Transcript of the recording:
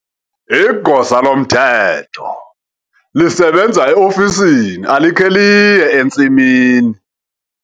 Igosa lomthetho lisebenza eofisini alikhe liye entsimini.